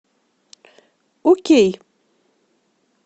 окей